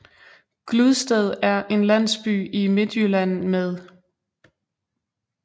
Gludsted er en landsby i Midtjylland med